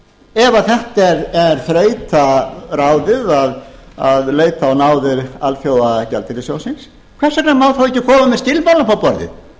ef þetta er þrautaráðið að leita á náðir alþjóðagjaldeyrissjóðsins hvers vegna má þá ekki koma með skilmálana upp á borðið